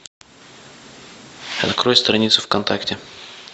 открой страницу вконтакте